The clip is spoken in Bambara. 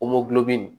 nin